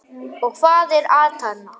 Og hvað er atarna?